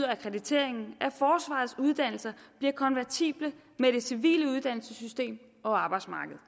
akkrediteringen at forsvarets uddannelser bliver konvertible med det civile uddannelsessystem og arbejdsmarkedet